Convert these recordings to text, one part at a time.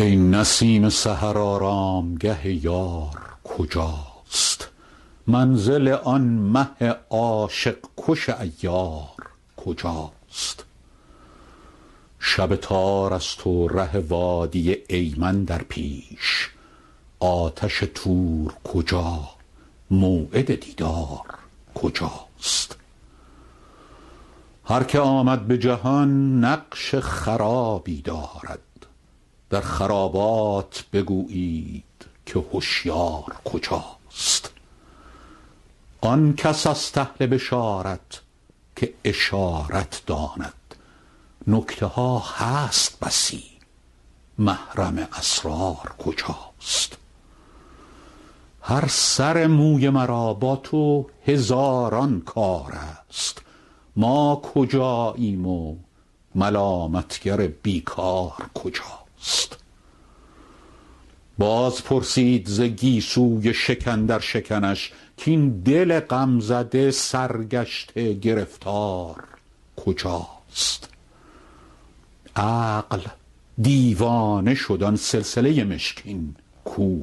ای نسیم سحر آرامگه یار کجاست منزل آن مه عاشق کش عیار کجاست شب تار است و ره وادی ایمن در پیش آتش طور کجا موعد دیدار کجاست هر که آمد به جهان نقش خرابی دارد در خرابات بگویید که هشیار کجاست آن کس است اهل بشارت که اشارت داند نکته ها هست بسی محرم اسرار کجاست هر سر موی مرا با تو هزاران کار است ما کجاییم و ملامت گر بی کار کجاست باز پرسید ز گیسوی شکن در شکنش کاین دل غم زده سرگشته گرفتار کجاست عقل دیوانه شد آن سلسله مشکین کو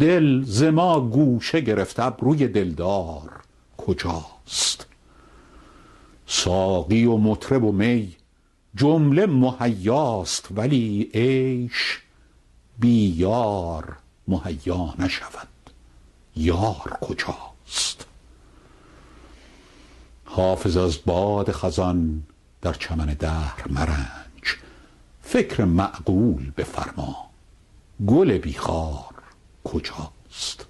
دل ز ما گوشه گرفت ابروی دلدار کجاست ساقی و مطرب و می جمله مهیاست ولی عیش بی یار مهیا نشود یار کجاست حافظ از باد خزان در چمن دهر مرنج فکر معقول بفرما گل بی خار کجاست